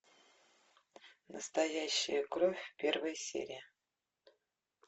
настоящая кровь первая серия